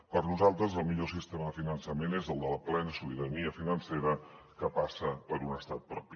per nosaltres el millor sistema de finançament és el de la plena sobirania financera que passa per un estat propi